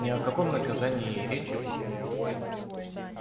ни о каком наказании и речи быть не может